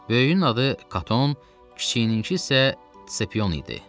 Böyüyün adı Katon, kiçiyininki isə Sepion idi.